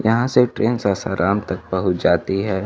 यहां से एक ट्रेन सासाराम तक पहुंच जाती है।